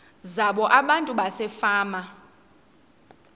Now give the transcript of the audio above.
zabo abantu basefama